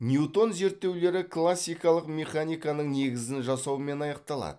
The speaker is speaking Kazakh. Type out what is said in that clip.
ньютон зерттеулері классикалық механиканың негізін жасаумен аяқталады